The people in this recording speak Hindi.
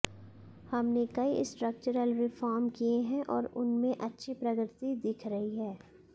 हमने कई स्ट्रक्चरल रिफॉर्म किए हैं और उनमें अच्छी प्रगति दिख रही है